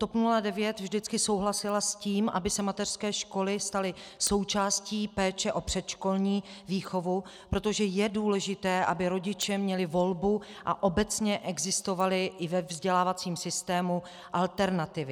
TOP 09 vždycky souhlasila s tím, aby se mateřské školy staly součástí péče o předškolní výchovu, protože je důležité, aby rodiče měli volbu a obecně existovaly i ve vzdělávacím systému alternativy.